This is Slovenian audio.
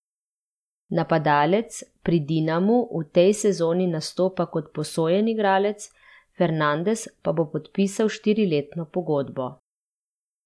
Napadalec pri Dinamu v tej sezoni nastopa kot posojen igralec, Fernandes pa bo podpisal štiriletno pogodbo.